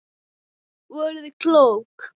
Voruð klók.